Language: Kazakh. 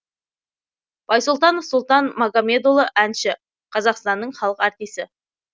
байсұлтанов сұлтан магамедұлы әнші қазақстанның халық артисі